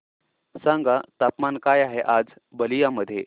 सांगा तापमान काय आहे आज बलिया मध्ये